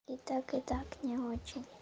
и так и так не очень